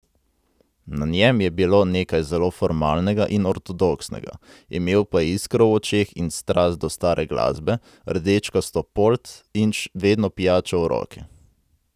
Na njem je bilo nekaj zelo formalnega in ortodoksnega, imel pa je iskro v očeh in strast do stare glasbe, rdečkasto polt in vedno pijačo v roki.